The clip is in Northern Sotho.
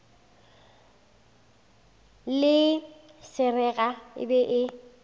le seraga e be e